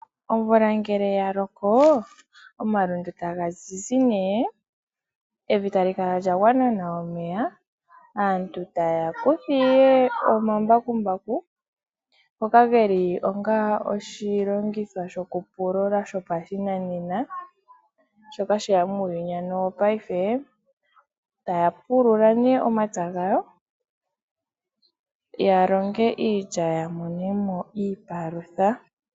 Omvula ngele ya loko omalundu taga zizi nee. Evi tali kala lyagwana nawa omeya. Aantu taya kutha iye omambakumbaku. Ngoka geli onga oshilongitho shoku pulula shopashinanena. Shoka sheya muuyuni wo paife. Taya pulula nee omapya gawo ya longe iilya. Ya monemo iipalutha.